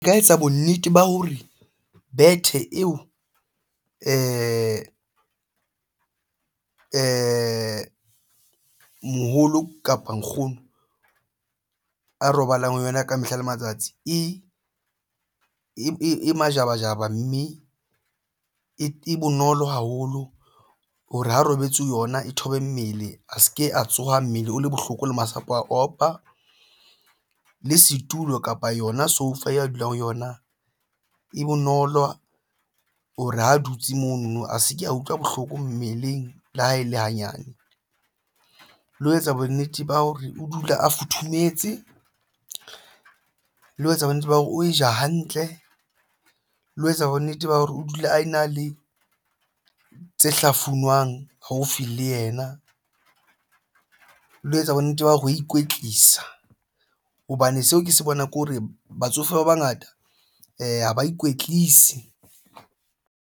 Nka etsa bonnete ba hore bethe eo moholo kapo nkgono a robalang ho yona ka mehla le matsatsi e majabajaba, mme e bonolo haholo hore ha robetse ho yona e thobe mmele a se ke a tsoha mmele o le bohloko le masapo a opa le setulo kapa yona sofa ya dulang ho yona e bonolo ho re ho dutse mono a se ke a utlwa bohloko mmeleng. Le ha e le hanyane le ho etsa bonnete ba hore o dula a futhumetse le ho etsa bonnete ba hore o e ja hantle le ho etsa bonnete ba hore o dula a ena le tse hlafunwang haufi le yena le ho etsa bonnete ba hore ho ikwetlisa hobane seo ke se bonang ke hore batsofe ba bangata ha ba ikwetlise.